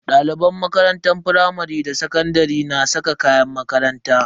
Daliban makarantun firamare da sakandare na saka kayan makaranta.